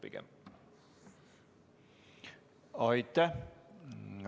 Aitäh!